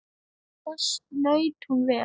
Þess naut hún vel.